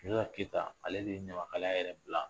Sunjata keyita , ale de ye ɲamakalaya yɛrɛ bila.